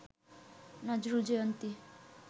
Nazrul Jayanti